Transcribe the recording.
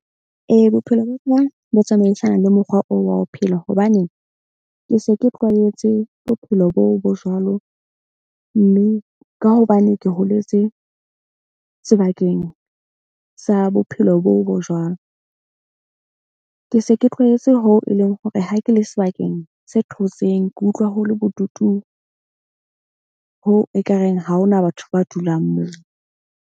Ee, bophelo ba ka bo tsamaisana le mokgwa oo wa ho phela. Hobane ke se ke tlwaetse bophelo boo bo jwalo. Mme ka hobane ke holetse sebakeng sa bophelo boo bo jwalo. Ke se ke tlwaetse ho e leng hore ha ke le sebakeng se thotseng, ke utlwa ho le bodutu hoo ekareng ha hona batho ba dulang moo.